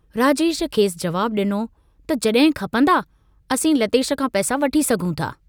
राजेश खेसि जवाबु डिनो त जॾहिं खपंदा, असीं लतेश खां पैसा वठी सघूं था।